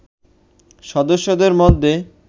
সদস্যদের মধ্যে